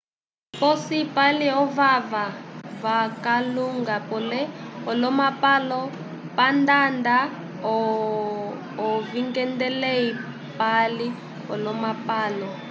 posi pali ovava vakalunga pele olomapalo pandada ovingedelei pali olomapalo